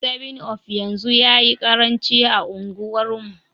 7up yanzu yayi karanci a unguwar mu